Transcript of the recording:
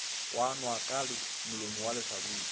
kwanwa ka molomo wa lehlabula